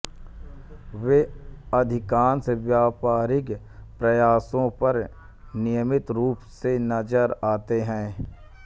वे अधिकांश व्यापारिक प्रकाशनों पर नियमित रूप से नज़र आते हैं